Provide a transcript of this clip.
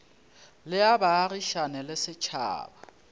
le a baagišane le setšhaba